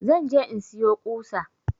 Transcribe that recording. Zan je in siyo ƙusa